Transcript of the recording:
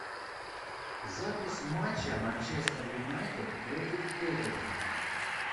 запись матча манчестер юнайтед против тоттенхэма